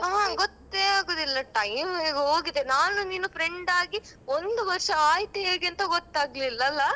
ಆ ಗೊತ್ತೇ ಆಗುದಿಲ್ಲ time ಹೇಗೆ ಹೋಗಿದೆ ನಾನು ನೀನು friend ಆಗಿ ಒಂದು ವರ್ಷ ಆಯ್ತು ಹೇಗೇಂತ ಗೊತ್ತಾಗ್ಲಿಲ್ಲ ಅಲ್ಲಾ.